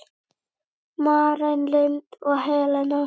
Maren Lind og Helena.